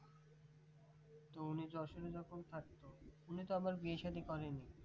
তো উনি যশোরে যখন থাকতেন উনি তো আবার বিয়ে শাদি করেনি